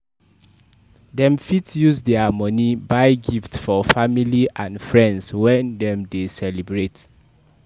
Dem fit use their money buy gifts for their family and friends when dem de celebrate